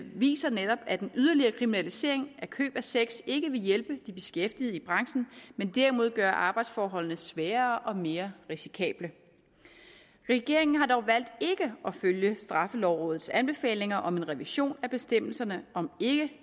viser netop at en yderligere kriminalisering af køb af sex ikke vil hjælpe de beskæftigede i branchen men derimod gøre arbejdsforholdene sværere og mere risikable regeringen har dog valgt ikke at følge straffelovrådets anbefalinger om en revision af bestemmelserne om